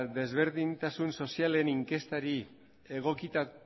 desberdintasun sozialen inkestari